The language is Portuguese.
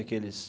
Aqueles...